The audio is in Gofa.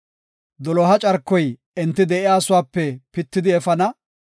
Doloha carkoy enti de7iyasuwape pitidi efana.